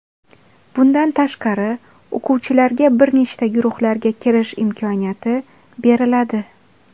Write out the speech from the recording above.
Bundan tashqari, o‘quvchilarga bir nechta guruhlarga kirish imkoniyati beriladi.